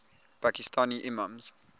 pakistani imams